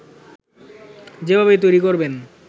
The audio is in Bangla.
যেভাবে তৈরি করবেন